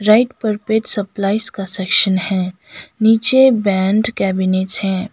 Right पर pet supplies का section है नीचे बैंड केबिनेट्स है।